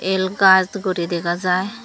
el gaas guri dega jaai.